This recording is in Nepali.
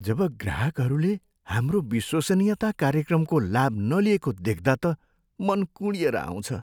जब ग्राहकहरूले हाम्रो विश्वासनीयता कार्यक्रमको लाभ नलिएको देख्दा त मन कुँडिएर आउँछ।